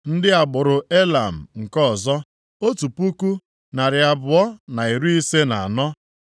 ndị agbụrụ Elam nke ọzọ, otu puku, narị abụọ na iri ise na anọ (1,254),